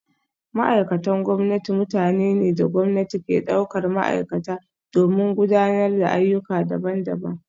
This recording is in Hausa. Ma’aikatan gwamnati mutane ne da gwamnati ke daukar ma’aikata domin gudanar da ayyuka daban-daban